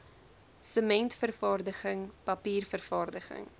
sementvervaardiging papier vervaardiging